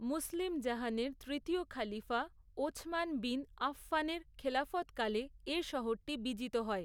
মুসলিম জাহানের তৃতীয় খলিফা, ওছমান বিন আফফানের খেলাফতকালে এ শহরটি বিজিত হয়।